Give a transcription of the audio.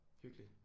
Hyggeligt